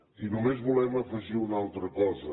i només volem afegir una altra cosa